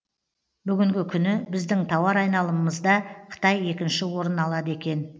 бүгінгі күні біздің тауар айналымымызда қытай екінші орын алады екен